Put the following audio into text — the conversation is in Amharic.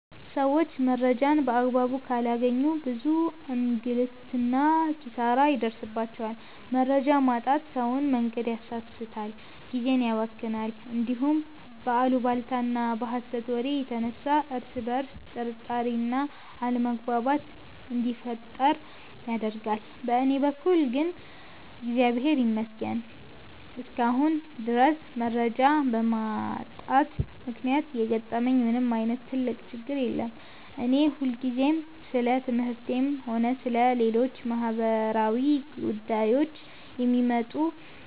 ሰዎች መረጃን በአግባቡ ካላገኙ ብዙ እንግልትና ኪሳራ ይደርስባቸዋል። መረጃ ማጣት ሰውን መንገድ ያሳስታል፣ ጊዜን ያባክናል፣ እንዲሁም በአሉባልታና በሐሰት ወሬ የተነሳ እርስ በርስ ጥርጣሬና አለመግባባት እንዲፈጠር ያደርጋል። በእኔ በኩል ግን እግዚአብሔር ይመስገን እስካሁን ድረስ መረጃ በማጣት ምክንያት የገጠመኝ ምንም ዓይነት ትልቅ ችግር የለም። እኔ ሁልጊዜም ስለ ትምህርቴም ሆነ ስለ ሌሎች ማኅበራዊ ጉዳዮች የሚወጡ